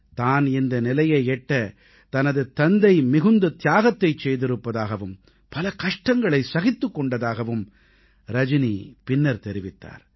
தான் இந்த நிலையை எட்ட தனது தந்தை மிகுந்த தியாகத்தைச் செய்திருப்பதாகவும் பல கஷ்டங்களைச் சகித்துக் கொண்டதாகவும் ரஜனி பின்னர் தெரிவித்தார்